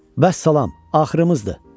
Vəssalam, axırımızdır.